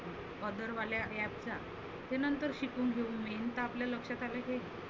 caller वाल्या App च्या ते नंतर शिकवुन घेऊ. main तर आपल्या लक्षात आलं हे